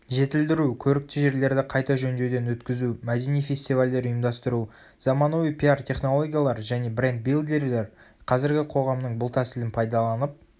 жетілдіру көрікті жерлерді қайта жөндеуден өткізу мәдени фестивальдер ұйымдастыру.заманауи пиар-технологиялар және брендбилдерлер қазіргі қоғамның бұл тәсілін пайдаланып